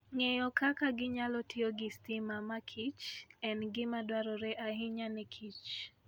Ng'eyo kaka ginyalo tiyo gi stima makichr en gima dwarore ahinya ne kich.